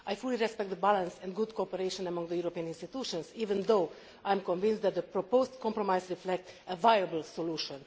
I fully respect the balance and good cooperation among the European institutions, even though I am convinced that the proposed compromise reflects a viable solution.